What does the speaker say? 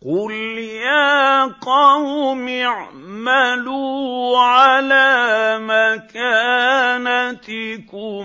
قُلْ يَا قَوْمِ اعْمَلُوا عَلَىٰ مَكَانَتِكُمْ